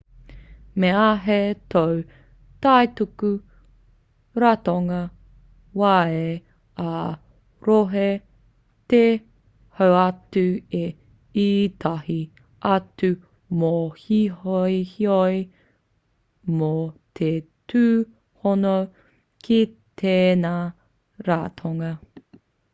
me āhei tō kaituku ratonga waea ā-rohe te hoatu i ētahi atu mōhiohio mō te tūhono ki tēnei ratonga